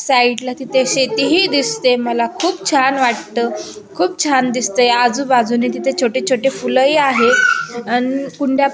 साइडला तिथे शेती ही दिसते मला खूप छान वाटत खूप छान दिसतय आजुबाजुने तिथे छोटे छोटे फूल ही आहे अन कुंड्या --